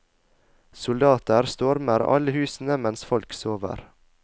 Soldater stormer alle husene mens folk sover.